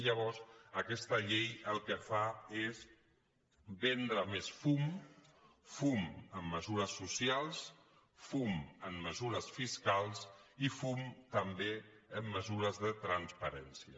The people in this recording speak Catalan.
llavors aquesta llei el que fa és vendre més fum fum en mesures socials fum en mesures fiscals i fum també en mesures de transparència